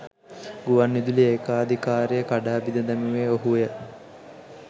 ගුවන් විදුලි ඒකාධිකාරිය කඩා බිද දැමුවේ ඔහුය